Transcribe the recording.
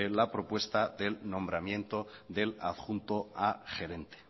la propuesta del nombramiento del adjunto al gerente